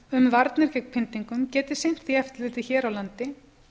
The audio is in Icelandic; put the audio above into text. um varnir gegn pyndingum geti sinnt því eftirliti hér á landi